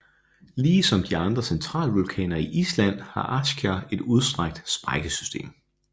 Ligesom andre centralvulkaner i Island har Askja et udstrakt sprækkesystem